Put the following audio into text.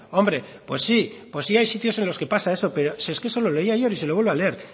hombre pues sí pues sí hay sitios en los que pasa eso pero si es que eso lo leí ayer y se lo vuelvo a leer